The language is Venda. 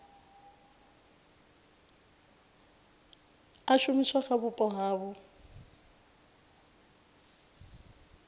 a shumiswa kha vhupo havho